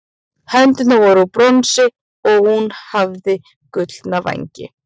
hendurnar voru úr bronsi og hún hafði gullna vængi